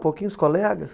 Pouquinhos colegas?